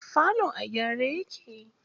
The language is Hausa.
Falon a gyare yake.